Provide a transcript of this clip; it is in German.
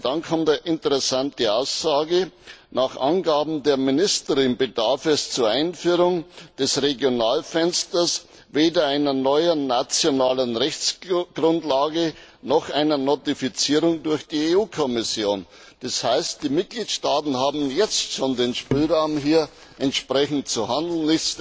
Aber dann kommt eine interessante Aussage Nach Angaben der Ministerin bedarf es zur Einführung des Regionalfensters weder einer neuen nationalen Rechtsgrundlage noch einer Notifizierung durch die EU Kommission. Das heißt, die Mitgliedstaaten haben jetzt schon den Spielraum, hier entsprechend zu handeln.